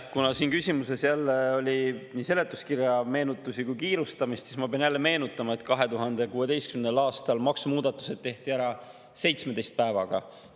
Kuna selles küsimuses jälle oli nii meenutusi seletuskirjast kui ka kiirustamist, siis ma pean jälle meenutama, et 2016. aastal tehti maksumuudatused ära 17 päevaga.